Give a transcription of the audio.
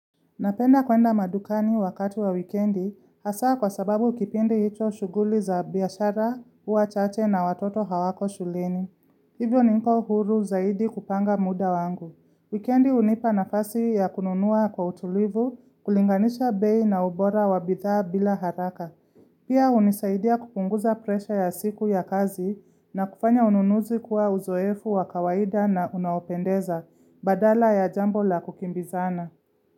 Napenda kuenda madukani wakati wa wikendi hasa kwa sababu kipindi hicho shughuli za biashara, huwa chache na watoto hawako shuleni. Hivyo niko huru zaidi kupanga muda wangu. Wikendi hnipa nafasi ya kununua kwa utulivu, kulinganisha bei na ubora wa bidhaa bila haraka. Pia hunisaidia kupunguza presha ya siku ya kazi na kufanya ununuzi kuwa uzoefu wa kawaida na unaopendeza, badala ya jambo la kukimbizana.